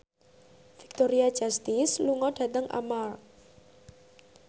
Victoria Justice lunga dhateng Armargh